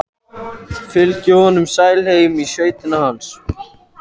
Fylgdi honum sæl heim í sveitina hans.